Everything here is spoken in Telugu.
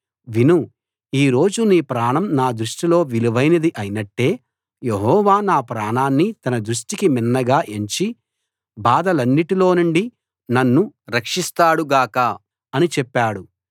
విను ఈ రోజు నీ ప్రాణం నా దృష్టిలో విలువైనది అయినట్టే యెహోవా నా ప్రాణాన్ని తన దృష్టికి మిన్నగా ఎంచి బాధలన్నిటిలోనుండి నన్ను రక్షిస్తాడు గాక అని చెప్పాడు